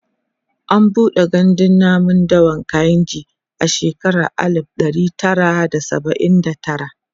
an buɗe gandun namun dawan kainji a shekara alib ɗari Tara da saba'in da tara